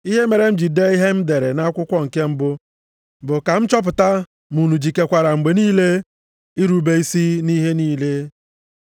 Ihe mere m ji dee ihe m dere nʼakwụkwọ nke mbụ bụ ka m chọpụta ma unu jikekwara mgbe niile irube isi nʼihe niile.